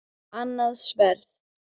Annað sverð.